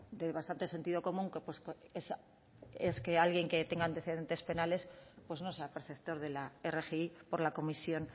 de bastante sentido común ques que alguien que tenga antecedentes penales pues no sea perceptor de la rgi por la comisión